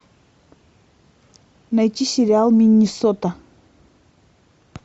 найти сериал миннесота